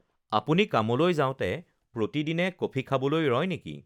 আপুনি কামলৈ যাওঁতে প্ৰতিদিনে কফি খাবলৈ ৰয় নেকি?